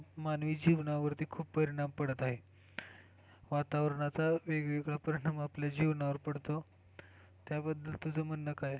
मानवी जीवनावरती खूप परिणाम पडत आहेत वातावरणचा वेगवेगळा परिणाम आपल्या जीवनावर पडतो त्या बद्दल तुझ म्हणणं काय?